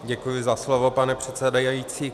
Děkuji za slovo, pane předsedající.